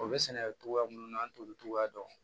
O bɛ sɛnɛkɛ cogoya minnu na an t'olu cogoya dɔn